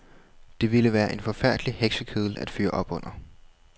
Det ville være en forfærdelig heksekedel at fyre op under.